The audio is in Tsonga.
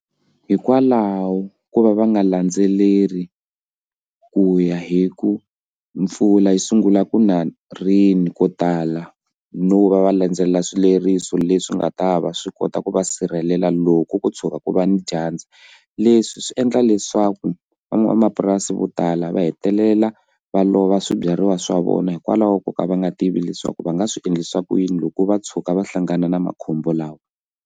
Hikwalaho ko va va nga landzeleli ku ya hi ku mpfula yi sungula ku na rini ko tala no va va landzelela swileriso leswi nga ta va swi kota ku va sirhelela loko ko tshuka ku va ni dyandza leswi swi endla leswaku van'wamapurasi vo tala va hetelela va lova swibyariwa swa vona hikwalaho ko ka va nga tivi leswaku va nga swi endlisa ku yini loko va tshuka va hlangana na makhombo lawa.